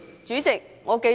主席，我記得......